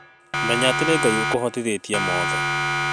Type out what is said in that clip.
Menya atĩ nĩ Ngai ũkũhotithĩtie mothe